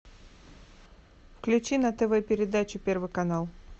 включи на тв передачу первый канал